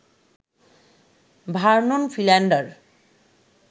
Vernon Philander